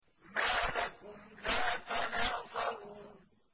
مَا لَكُمْ لَا تَنَاصَرُونَ